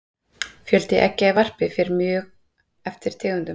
fjöldi eggja í varpi fer mjög eftir tegundum